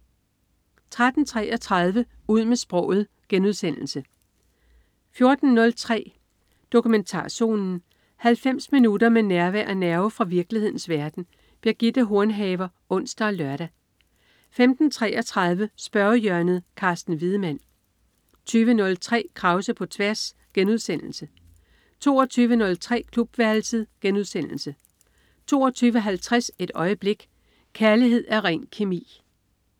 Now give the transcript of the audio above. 13.33 Ud med sproget* 14.03 Dokumentarzonen. 90 minutter med nærvær og nerve fra virkelighedens verden. Birgitte Hornhaver (ons og lør) 15.33 Spørgehjørnet. Carsten Wiedemann 20.03 Krause på tværs* 22.03 Klubværelset* 22.50 Et øjeblik. Kærlighed er ren kemi